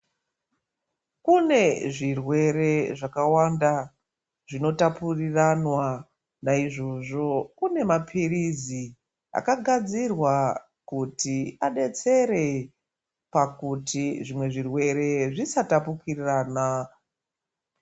Kune zvirwere zvakawanda, zvinotapuriranwa. Naizvozvo kune maphirizi akagadzirwa kuti adetsere pakuti zvimwe zvirwere zvisatapukirana.